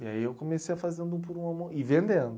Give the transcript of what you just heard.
E aí eu comecei a fazer um por um a mão e vendendo.